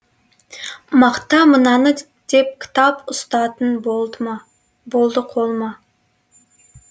мақта мынаны деп кітап ұстатын болды қолыма